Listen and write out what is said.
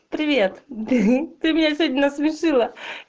привет ты меня сегодня насмешила